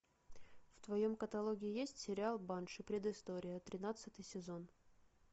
в твоем каталоге есть сериал банши предыстория тринадцатый сезон